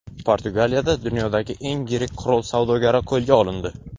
Portugaliyada dunyodagi eng yirik qurol savdogari qo‘lga olindi.